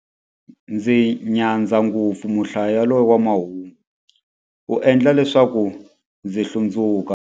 Ndzi nyadza ngopfu muhlayi yaloye wa mahungu, u endla leswaku ndzi hlundzuka.